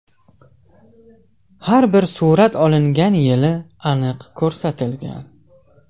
Har bir surat olingan yili aniq ko‘rsatilgan.